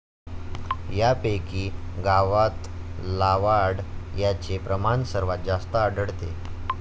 यापैकी 'गावातलावाढ ' याचे प्रमाण सर्वांत जास्त आढळते.